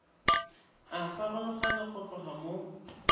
a farologana go tloga mo